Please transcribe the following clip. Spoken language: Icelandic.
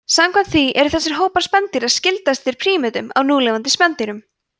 samkvæmt því eru þessir hópar spendýra skyldastir prímötum af núlifandi spendýrum